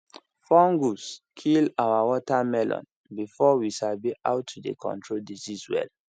fungus kill our watermelon before we sabi how to dey control disease well